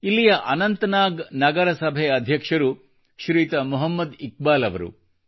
ಇಲ್ಲಿಯ ಅನಂತನಾಗ್ ನಗರಸಭೆ ಅಧ್ಯಕ್ಷರು ಶ್ರೀಯುತ ಮೊಹಮ್ಮದ್ ಇಕ್ಬಾಲ್ ಅವರು